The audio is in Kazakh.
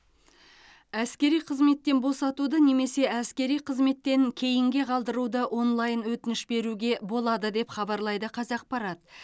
әскери қызметтен босатуды немесе әскери қызметтен кейінге қалдыруды онлайн өтініш беруге болады деп хабарлайды қазақпарат